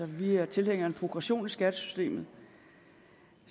vi er tilhængere af en progression i skattesystemet